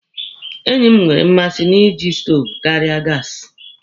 Enyi m nwere mmasị na iji stoovu karịa iji gaasi.